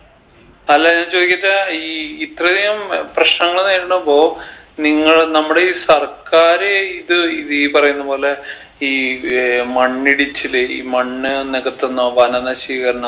അല്ല ഞാൻ ചോയ്ക്കട്ടെ ഈ ഇത്രയധികം പ്രശ്നങ്ങൾ നേരിടുമ്പോ നിങ്ങൾ നമ്മുടെ ഈ സർക്കാര് ഇത് ഈ പറയുന്ന പോലെ ഈ ഏർ മണ്ണിടിച്ചല് ഈ മണ്ണ് നികത്തുന്ന വനനശീകരണം